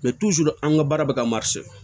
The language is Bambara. an ka baara bɛ ka